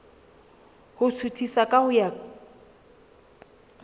ho suthisa ka ho ya